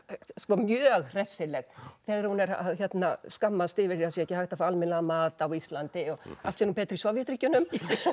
mjög hressileg þegar hún er að skammast yfir að það sé ekki hægt að fá almennilegan mat á Íslandi og allt sé nú betra í Sovétríkjunum